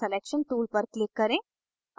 selection tool पर click करें